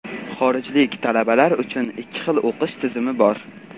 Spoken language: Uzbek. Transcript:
Xorijlik talabalar uchun ikki xil o‘qish tizimi bor.